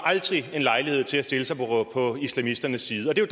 en lejlighed til at stille sig på islamisternes side og det